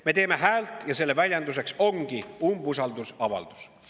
Me teeme häält ja selle väljenduseks ongi umbusaldusavaldus.